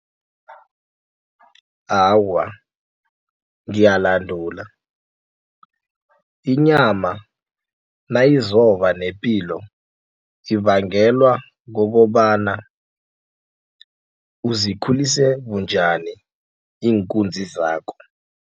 Awa, ngiyalandula inyama nayizoba nepilo ibangelwa kokobana uzikhulise bunjani iinkunzi zakho.